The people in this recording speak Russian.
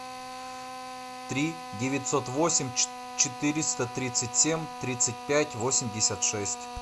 три девятьсот восемь четыреста тридцать семь тридцать пять восемьдесят шесть